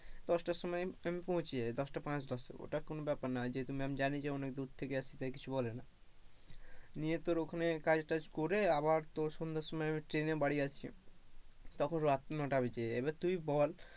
দশটার সময় আমি পৌঁছে যাই দশটা পাঁচ দশে ওটা কোন ব্যাপার না যেহেতো ma 'am জানে যে অনেক দূর থেকে আসি তাই কিছু বলে না নিয়ে তোর ওখানে কাজ টাজ করে আবার তোর সন্ধ্যার সময় আমি ট্রেনে বাড়ি আসি তখন রাত নটা বেজে যায়, এবার তুই বল,